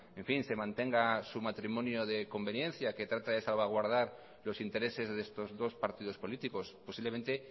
se mantenga su matrimonio de conveniencia que trata de salvaguardar los intereses de estos dos partidos políticos posiblemente